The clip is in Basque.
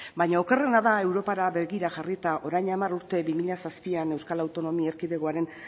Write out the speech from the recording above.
baino okerrena da europara begira jarrita orain hamar urte bi mila zazpian euskal autonomia erkidegoaren